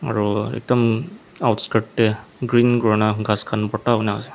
aru ekdam te green kori kina gass khan gota kina ase.